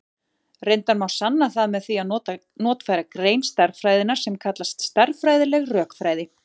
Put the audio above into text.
Reyndar má sanna það með því að notfæra grein stærðfræðinnar sem kallast stærðfræðileg rökfræði.